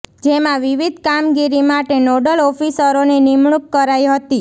જેમાં વિવિધ કામગીરી માટે નોડલ ઓફિસરોની નિમણૂંક કરાઇ હતી